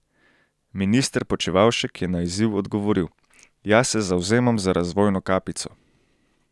Minister Počivalšek je na izziv odgovoril: 'Jaz se zavzemam za razvojno kapico.